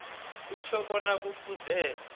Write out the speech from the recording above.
kutjho bona kufuze